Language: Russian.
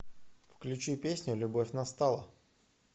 включи песню любовь настала